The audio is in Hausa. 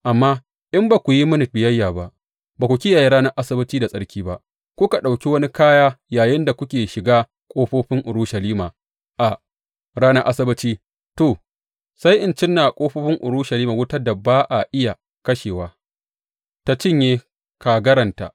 Amma in ba ku yi mini biyayya ba, ba ku kiyaye ranar Asabbaci da tsarki ba, kuka ɗauki wani kaya yayinda kuke shiga ƙofofin Urushalima a ranar Asabbaci, to, sai in cinna wa ƙofofin Urushalima wutar da ba a iya kashewa, tă cinye kagaranta.